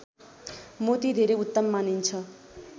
मोती धेरै उत्तम मानिन्छ